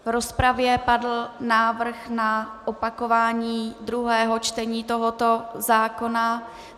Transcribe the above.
V rozpravě padl návrh na opakování druhého čtení tohoto zákona.